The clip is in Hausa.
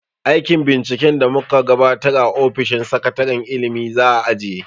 Aikin binciken da mu ka gabatar a ofishin sakataren ilimi za a ajiye.